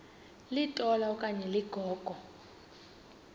litola okanye ligogo